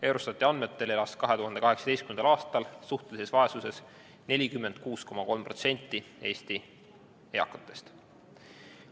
Eurostati andmetel elas 2018. aastal suhtelises vaesuses 46,3% Eesti eakatest.